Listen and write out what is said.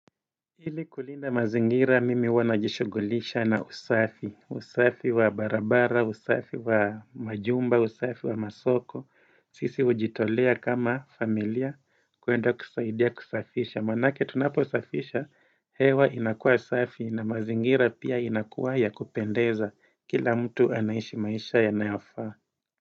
Ili kulinda mazingira mimi huwa najishugulisha na usafi, usafi wa barabara, usafi wa majumba, usafi wa masoko, sisi ujitolea kama familia kuenda kusaidia kusafisha, manake tunaposafisha hewa inakuwa safi na mazingira pia inakuwa ya kupendeza kila mtu anaishi maisha yanayofaa.